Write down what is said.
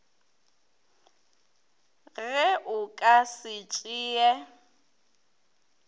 ge o ka se tšee